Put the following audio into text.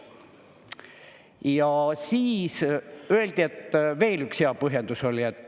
Ja siis öeldi veel üks hea põhjendus.